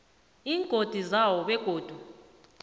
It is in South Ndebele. iingodi zewho begodu